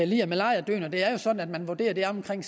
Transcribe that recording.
lider malariadøden det er jo sådan at man vurderer at det er omkring